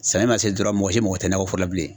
Samiya ma se dɔrɔn mɔgɔ si mako tɛ nakɔ fɛn na bilen.